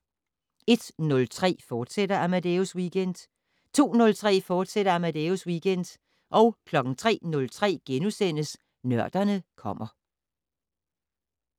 01:03: Amadeus Weekend, fortsat 02:03: Amadeus Weekend, fortsat 03:03: Nørderne kommer *